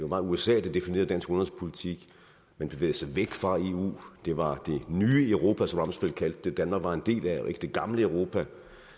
var usa der definerede dansk udenrigspolitik man bevægede sig væk fra eu det var det nye europa som rumsfeld kaldte det danmark var en del af og ikke det gamle europa